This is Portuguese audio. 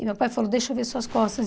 E meu pai falou, deixa eu ver suas costas.